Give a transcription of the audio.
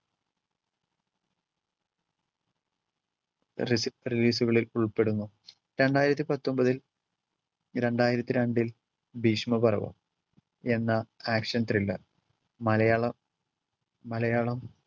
relea~ release കളിൽ ഉൾപ്പെടുന്നു. രണ്ടായിരത്തി പത്തൊമ്പതിൽ, രണ്ടായിരത്തി രണ്ടിൽ ഭീഷ്മ പർവ്വം എന്ന action thriller മലയാളം മലയാളം